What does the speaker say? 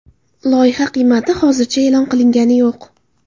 Loyiha qiymati hozircha e’lon qilingani yo‘q.